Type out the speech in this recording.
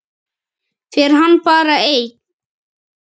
Fer hann bara einn?